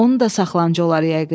Onu da saxlanc olar yəqin.